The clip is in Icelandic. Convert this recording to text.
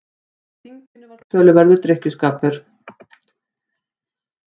Á þinginu var töluverður drykkjuskapur.